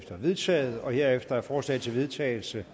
vedtaget herefter er forslag til vedtagelse